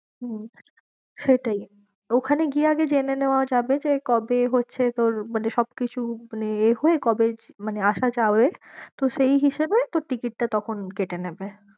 হম সেটাই ওখানে গিয়ে আগে যেনে নেওয়া যাবে কবে হচ্ছে তোর মানে সব কিছু মানে এ হয়ে কবে মানে আসা যাবে? তো সেই হিসাবে তোর ticket টা তখন কেটে নেবে।